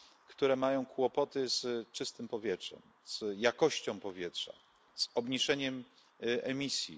które mają kłopoty z czystym powietrzem, z jakością powietrza, z obniżeniem emisji.